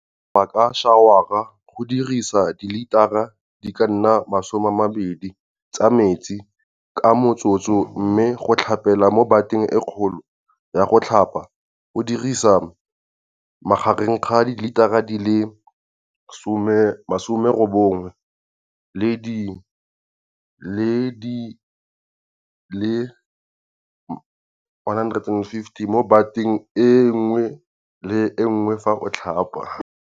Go tlhapa ka šawara go dirisa dilitara di ka nna 20 tsa metsi ka motsotso, mme go tlhapela mo bateng e kgolo ya go tlhapa go dirisa magareng ga dilitara di le 80 le di le 150 mo bateng e nngwe le e nngwe fa o tlhapa.